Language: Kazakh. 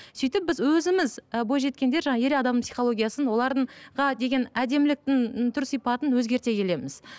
сөйтіп біз өзіміз і бойжеткендер жаңа ер адам психологиясын олардың деген әдеміліктің түр сипатын өзгерте келеміз